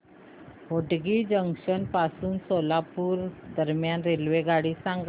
Hotgi junction पासून सोलापूर दरम्यान रेल्वेगाडी सांगा